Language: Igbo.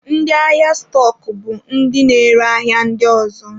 Ndị ahịa stọk bụ ndị na-ere ahịa ndị ọzọ.